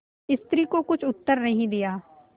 स्त्री को कुछ उत्तर नहीं दिया